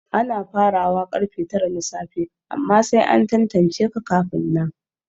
Ana farawa karfe tara na safe amma sai an tantance ka kafin nan